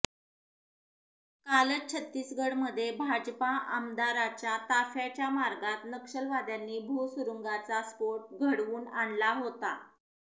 कालच छत्तीसगडमध्ये भाजपा आमदाराच्या ताफ्याच्या मार्गात नक्षलवाद्यांनी भूसुरुंगाचा स्फोट घडवून आणला होता